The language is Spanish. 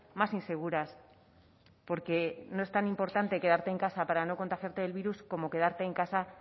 más inseguras porque no es tan importante quedarte en casa para no contagiarte del virus como quedarte en casa